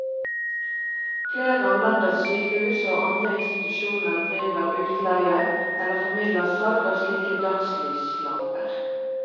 Flere av landets sykehus og andre institusjoner driver utleie eller formidler salg av slike dagslyslamper.